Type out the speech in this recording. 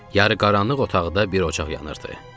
Yarıqaranlıq otaqda bir ocaq yanırdı.